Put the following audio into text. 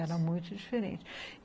Era muito diferente.